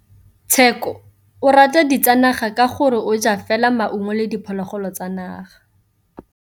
Tshekô o rata ditsanaga ka gore o ja fela maungo le diphologolo tsa naga.